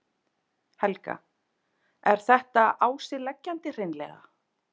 Helga: Er þetta á sig leggjandi hreinlega?